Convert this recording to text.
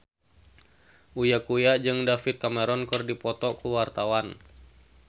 Uya Kuya jeung David Cameron keur dipoto ku wartawan